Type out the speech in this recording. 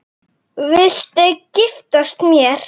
Viltu giftast mér?